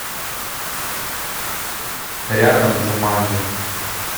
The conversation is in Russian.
рядом джуманджи